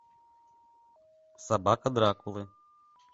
собака дракулы